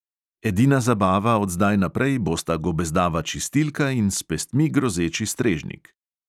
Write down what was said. Edina zabava od zdaj naprej bosta gobezdava čistilka in s pestmi grozeči strežnik.